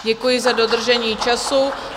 Děkuji za dodržení času.